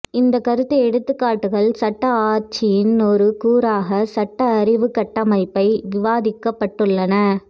இந்தக் கருத்துப் எடுத்துக்காட்டுகள் சட்ட ஆட்சியின் ஒரு கூறாக சட்ட அறிவு கட்டமைப்பை விவாதிக்கப்பட்டுள்ளன